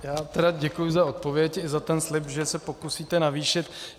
Já tedy děkuji za odpověď i za ten slib, že se pokusíte navýšit.